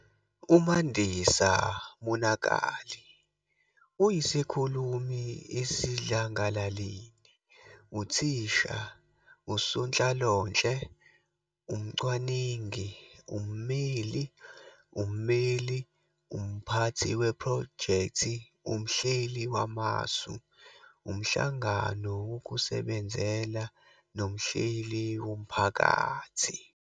UMandisa Monakali uyisikhulumi esidlangalaleni, uthisha, usonhlalonhle, umcwaningi, ummeli, ummeli, umphathi wephrojekthi, umhleli wamasu, umhlangano wokusebenzela nomhleli womphakathi.